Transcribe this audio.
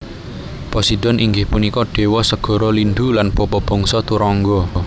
Poseidon inggih punika déwa segara lindhu lan bapa bangsa turangga